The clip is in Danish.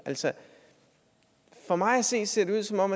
altså for mig at se ser det ud som om